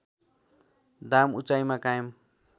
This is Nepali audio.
दाम उचाइमा कायम